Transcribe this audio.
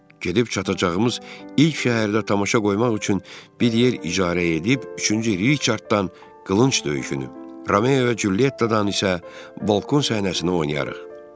Gedib çatacağımız ilk şəhərdə tamaşa qoymaq üçün bir yer icarə edib, üçüncü Riçarddan qılınc döyüşünü, Romeova Cülyettadan isə balkon səhnəsini oynayarıq.